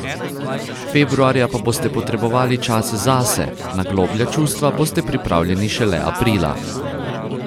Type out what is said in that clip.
Februarja pa boste potrebovali čas zase, na globlja čustva boste pripravljeni šele aprila.